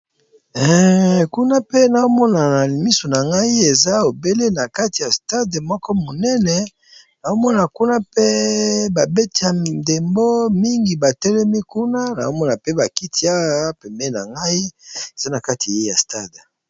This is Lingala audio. Kuna pe nao mona na misu na ngai eza obele na kati ya stade moko monene, nao mona kuna mpe ba beti ya ndembo mingi ba telemi kuna nao mona mpe ba kiti awa pembeni na ngai eza na kati ya stade.